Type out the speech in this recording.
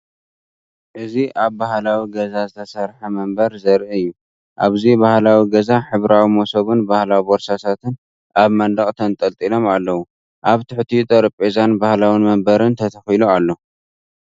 እዚ ኣብ ባህላዊ ገዛ ዝተሰርሐ መንበር ዘርኢ እዩ። ኣብዚ ባህላዊ ገዛ ሕብራዊ መሶብን ባህላዊ ቦርሳታትን ኣብ መንደቕ ተንጠልጢሎም ኣለው። ኣብ ትሕቲኡ ጠረጴዛን ባህላዊ መንበርን ተተኺሉ ኣሎ።